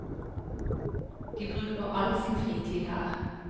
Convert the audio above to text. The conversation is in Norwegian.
De bruker all sin fritid her.